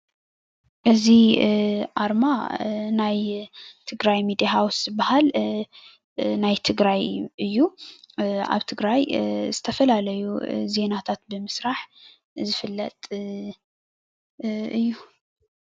እዚ አርማ ናይ ትግራይ ሚዲያ ሃውስ ዝበሃል ናይ ትግራይ እዩ። አብ ትግራይ ዝተፈላለዩ ዜናታት ብምስራሕ ዝፈለጥ እዩ፡፡